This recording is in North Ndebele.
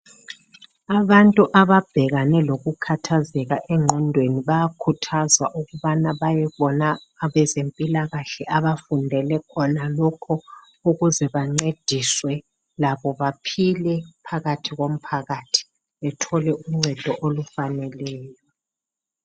Abantu ababhekane lokukhathazeka engqondweni bayakhuthazwa ukubana bayebona abezempilakahle abafundele khonalokho ukuze bancediswe labo baphile phakathi komphakathi bethole uncedo olufaneleyo